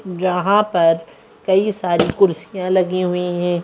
जहां पर कई सारी कुर्सियां लगी हुई हैं।